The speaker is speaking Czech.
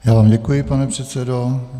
Já vám děkuji, pane předsedo.